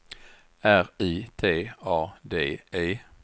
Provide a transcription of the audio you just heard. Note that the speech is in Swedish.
R I T A D E